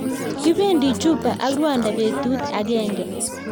kipendi juba ak rwanda betut ageng